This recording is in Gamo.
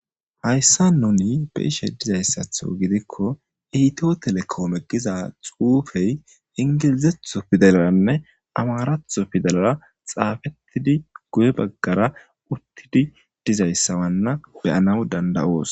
Hayssa nuni beishe dizayssatho gidikko eito telekoome giza xuufey ingilizetho fidalaranne amaaratho fidalara xaafettidi guye baggara uttidi dizayssawanna beyanaw danda7oos.